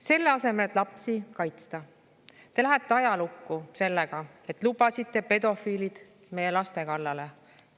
Selle asemel, et lapsi kaitsta, te lähete ajalukku sellega, et lubasite pedofiilid meie laste kallale.